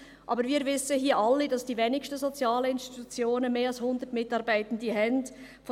Aber wir alle hier wissen, dass die wenigsten sozialen Institutionen mehr als 100 Mitarbeitende haben.